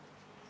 Aitäh!